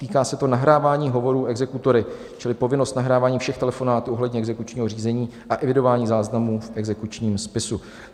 Týká se to nahrávání hovorů exekutory čili povinnost nahrávání všech telefonátů ohledně exekučního řízení a evidování záznamů v exekučním spisu.